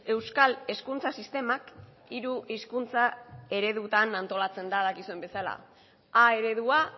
euskal hezkuntza sistemak hiru hizkuntza eredutan antolatzen da dakizuen bezala a eredua